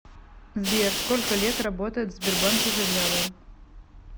сбер сколько лет работает в сбербанке завьялова